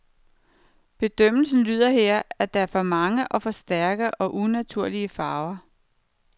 Bedømmelsen lyder her, at der er for mange og for stærke og unaturlige farver.